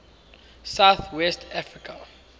south west africa